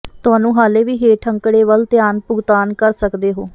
ਤੁਹਾਨੂੰ ਹਾਲੇ ਵੀ ਹੇਠ ਅੰਕੜੇ ਵੱਲ ਧਿਆਨ ਭੁਗਤਾਨ ਕਰ ਸਕਦੇ ਹੋ